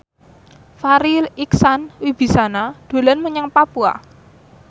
Farri Icksan Wibisana dolan menyang Papua